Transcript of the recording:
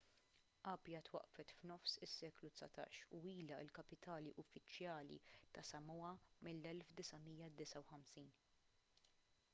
apia twaqqfet f'nofs is-seklu dsatax u ilha l-kapitali uffiċjali tas-samoa mill-1959